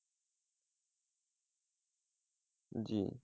জি।